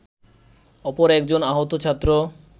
অপর একজন আহত ছাত্র